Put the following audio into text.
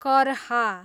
करहा